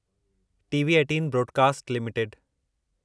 TV eighteen broadcast limited